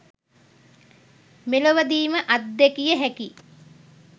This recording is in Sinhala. මෙලොවදීම අත්දැකිය හැකි